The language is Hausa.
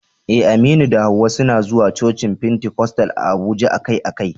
Eh, Aminu da Hawwa suna zuwa cocin Pentecostal a Abuja akai-akai.